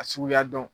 A suguya dɔn